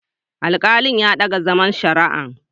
Alkalin ya dage zaman shari'an.